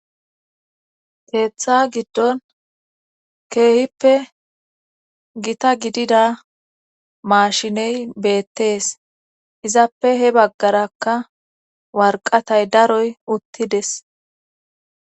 teeththa giddon keehippe gita gidida maashiney beettees izappe he baggarakka warqatay daroy uttides